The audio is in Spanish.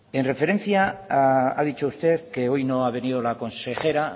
en referencia ha dicho usted que hoy no ha venido la consejera